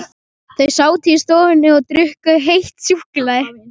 Þau sátu í stofunni og drukku heitt súkkulaði.